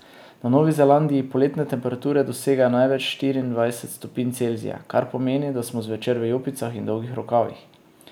Na Novi Zelandiji poletne temperature dosegajo največ štiriindvajset stopinj Celzija, kar pomeni, da smo zvečer v jopicah in dolgih rokavih.